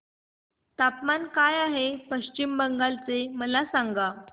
तापमान काय आहे पश्चिम बंगाल चे मला सांगा